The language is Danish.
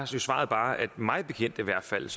svaret bare at mig bekendt i hvert fald